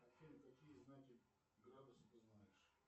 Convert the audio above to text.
афина какие знаки градуса ты знаешь